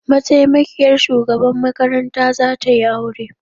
Mataimakiyar shugaban makaranta za tayi aure